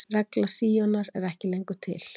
Regla Síonar er ekki lengur til.